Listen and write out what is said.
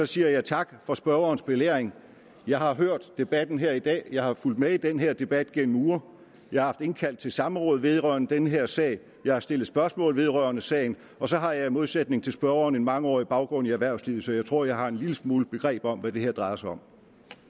siger jeg tak for spørgerens belæring jeg har hørt debatten her i dag jeg har fulgt med i den her debat igennem uger jeg har haft indkaldt til samråd vedrørende den her sag jeg har stillet spørgsmål vedrørende sagen og så har jeg i modsætning til spørgeren en mangeårig baggrund i erhvervslivet så jeg tror at jeg har en lille smule begreb om hvad det her drejer sig om